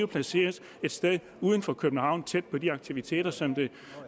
placeres et sted uden for københavn tæt på de aktiviteter som